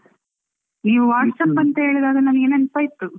ನೀವು WhatsApp ಅಂತ ಹೇಳಿದಾಗ ನನಗೆ ನೆನಪಾಯಿತು.